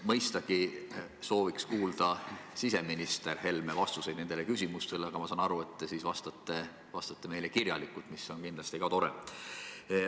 Mõistagi sooviks kuulda ka siseminister Helme vastuseid nendele küsimustele, aga ma saan aru, et te siis vastate meile kirjalikult, mis on kindlasti ka tore.